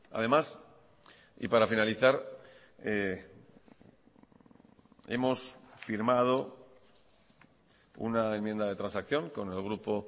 además y para finalizar hemos firmado una enmienda de transacción con el grupo